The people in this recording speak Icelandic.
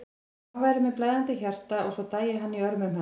En hann væri með blæðandi hjarta og svo dæi hann í örmum hennar.